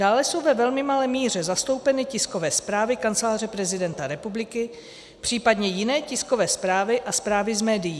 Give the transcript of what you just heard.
Dále jsou ve velmi malé míře zastoupeny tiskové zprávy Kanceláře prezidenta republiky, případně jiné tiskové zprávy a zprávy z médií.